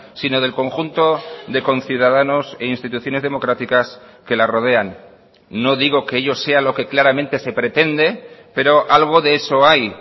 sino del conjunto de conciudadanos e instituciones democráticas que la rodean no digo que ello sea lo que claramente se pretende pero algo de eso hay